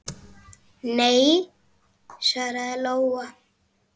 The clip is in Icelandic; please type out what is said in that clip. Nei, svaraði Lóa.